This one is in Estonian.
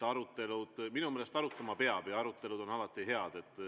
Minu meelest arutama peab ja arutelud on alati head.